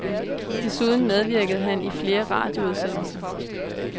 Desuden medvirkede han i flere radioudsendelser.